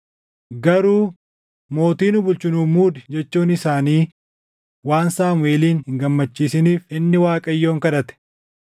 Garuu, “Mootii nu bulchu nuuf muudi” jechuun isaanii waan Saamuʼeelin hin gammachiisiniif inni Waaqayyoon kadhate.